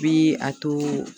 Bi a to